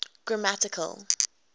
grammatical